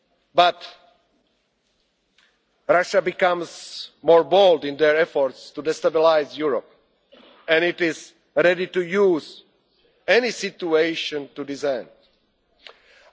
to take action. But Russia becomes more bold in its efforts to destabilise Europe and it is ready to use any situation